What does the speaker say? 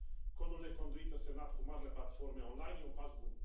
Codul de conduită semnat cu marile platforme online e un pas bun.